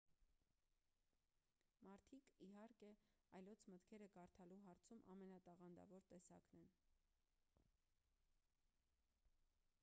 մարդիկ իհարկե այլոց մտքերը կարդալու հարցում ամենատաղանդավոր տեսակն են